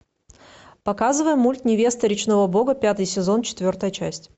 показывай мульт невеста речного бога пятый сезон четвертая часть